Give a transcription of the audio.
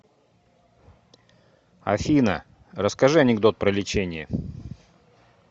афина расскажи анекдот про лечение